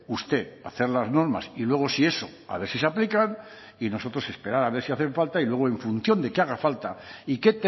usted hacer las normas y luego si eso a ver si se aplican y nosotros esperar a ver si hacen falta y luego en función de que haga falta y qué